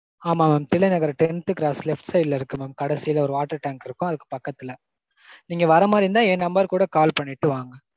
ஆமா mam. Thillai Nagar tenth cross left side ல இருக்கு mam. கடைசில ஒரு water tank இருக்கும் அதுக்கு பக்கத்துல. நீங்க வர மாதிரி இருந்தா என் number க்கு கூட call பண்ணிட்டு வாங்க.